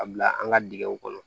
A bila an ka dingɛw kɔnɔ